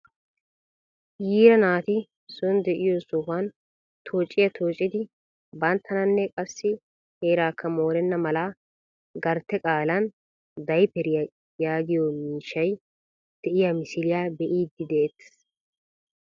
Yiira naati son de'iyoo sohuwaan toociyaa toocidi banttananne qassi heerakka morenna mala gartte qaalan dayperiyaa yaagiyoo miishshay de'iyaa misiliyaa be'iidi de'ettees.